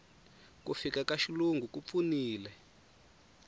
ku fika ka xilungu ku pfunile